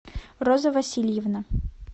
роза васильевна